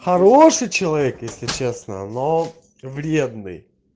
хороший человек если честно но вредный